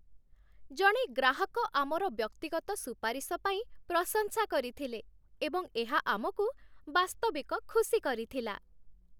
ଜଣେ ଗ୍ରାହକ ଆମର ବ୍ୟକ୍ତିଗତ ସୁପାରିଶ ପାଇଁ ପ୍ରଶଂସା କରିଥିଲେ ଏବଂ ଏହା ଆମକୁ ବାସ୍ତବିକ ଖୁସି କରିଥିଲା।